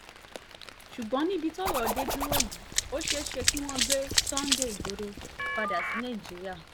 ṣùgbọ́n níbi tọ́rọ̀ dé dúró yìí ó ṣeé ṣe kí wọ́n gbé sunday igbodò padà sí nàìjíríà